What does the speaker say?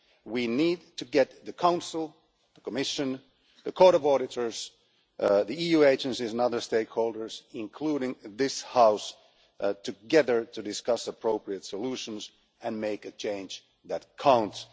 We need to get the Council, the Commission, the Court of Auditors, EU agencies and other stakeholders, including this House, together to discuss appropriate solutions and make a change that counts.